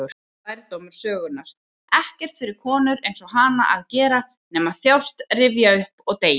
Þetta var lærdómur sögunnar: ekkert fyrir konur-einsog-hana að gera nema þjást, rifja upp, og deyja.